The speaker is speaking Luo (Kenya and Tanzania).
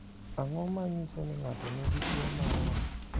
Ang’o ma nyiso ni ng’ato nigi tuwo mar ng’ol?